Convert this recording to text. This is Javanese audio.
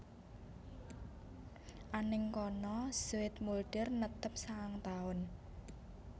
Anèng kana Zoetmulder netep sangang taun